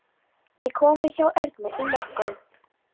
Ég kom við hjá Ernu í morgun.